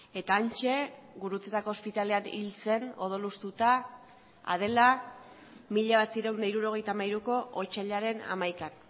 eta hantxe gurutzetako ospitalean hil zen odol hustuta adela mila bederatziehun eta hirurogeita hamairuko otsailaren hamaikan